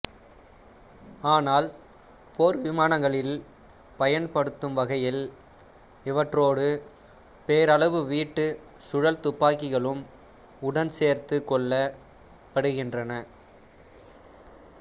ஆனால் போர்விமானங்களில் பயன்படுத்துகையில் இவற்றோடு பேரளவீட்டு சுழல்துப்பாக்கிகளும் உடன்சேர்த்துக் கொள்ளப்படுகின்றன